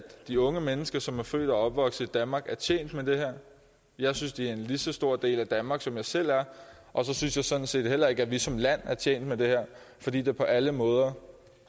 de unge mennesker som er født og opvokset i danmark er tjent med det her jeg synes de er lige så stor en del af danmark som jeg selv er og så synes jeg sådan set heller ikke at vi som land er tjent med det her fordi det på alle måder